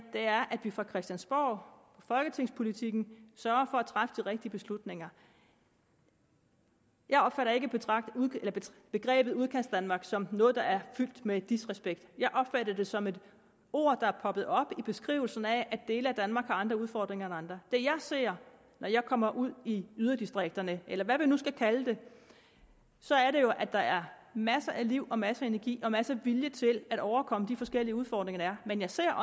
er at vi fra christiansborg i folketingspolitikken sørger for at træffe de rigtige beslutninger jeg opfatter ikke begrebet udkantsdanmark som noget der er fyldt med disrespekt jeg opfatter det som et ord der er poppet op i beskrivelsen af at dele af danmark har andre udfordringer end andre det jeg ser når jeg kommer ud i yderdistrikterne eller hvad vi nu skal kalde det er jo at der er masser af liv og masser af energi og masser af vilje til at overkomme de forskellige udfordringer der er men jeg ser